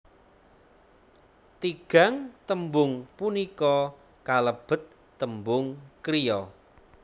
Tigang tembung punika kalebet tembung kriya